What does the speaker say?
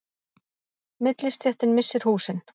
Millistéttin missir húsin